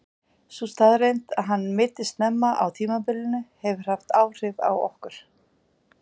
Sú staðreynd að hann meiddist snemma á tímabilinu hefur haft áhrif á okkur.